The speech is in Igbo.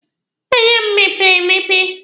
Anya m mepere emepe.